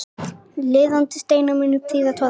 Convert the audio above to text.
Litaðir steinar munu prýða torgið.